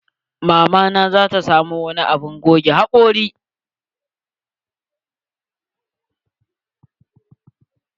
Mama na zata samo wani abun goge hakori.